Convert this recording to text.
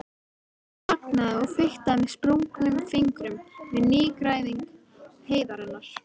Hún þagnaði og fiktaði með sprungnum fingrum við nýgræðing heiðarinnar.